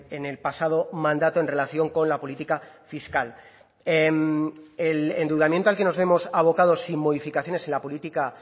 en el pasado mandato en relación con la política fiscal el endeudamiento al que nos vemos abocados sin modificaciones en la política